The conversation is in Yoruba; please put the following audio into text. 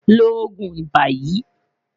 Lo oogun iba yii